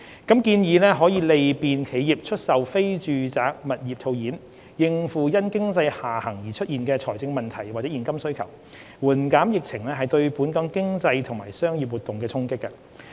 建議可利便企業出售非住宅物業套現，應付因經濟下行而出現的財政問題或現金需求，緩減疫情對本港經濟及商業活動的衝擊。